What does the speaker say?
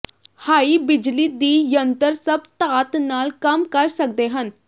high ਬਿਜਲੀ ਦੀ ਜੰਤਰ ਸਭ ਧਾਤ ਨਾਲ ਕੰਮ ਕਰ ਸਕਦੇ ਹਨ